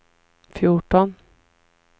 fjorton